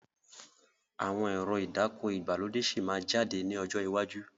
Àwọn ẹ̀rọ ìdáko ìgbàlódé síí má jáde ní ọjọ́ iwájú